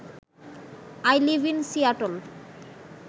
I live in Seattle